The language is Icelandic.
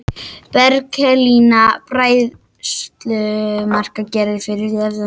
Berkelín: Bræðslumark gefið fyrir alfa form.